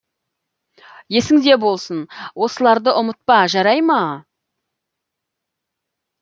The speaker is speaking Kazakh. есіңде болсын осыларды ұмытпа жарай ма